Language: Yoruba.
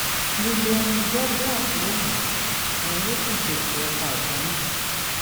williams douglas ló mọ̀ ọ́n òun ló sì ṣètò ọta ìbọn náà